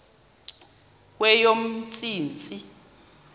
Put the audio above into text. kweyomntsintsi